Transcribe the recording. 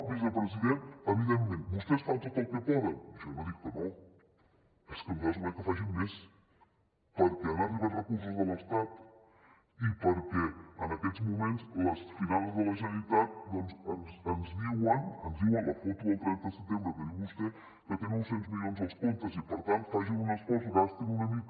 vicepresident evidentment vostès fan tot el que poden jo no dic que no és que nosaltres volem que facin més perquè han arribat recursos de l’estat i perquè en aquests moments les finances de la generalitat doncs ens diuen la foto del trenta de setembre que diu vostè que té nou cents milions als comptes i per tant facin un esforç gastin una mica